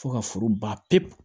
Fo ka foro ban pewu